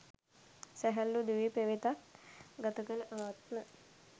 සැහැල්ලු දිවි පෙවෙතක් ගත කළ ආත්ම